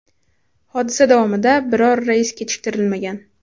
Hodisa davomida biror reys kechiktirilmagan.